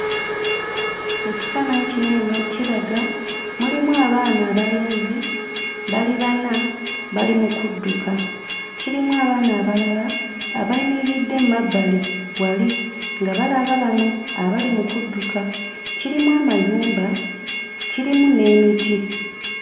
Ekifaananyi kino eno kiraga mulimu abaana abalenzi bali bana, bali mu kudduka. Kirimu abaana abalala abayimiridde mmabbali wali nga abalaba bano abali mu kudduka. Kirimu amayumba, kirimu n'emiti.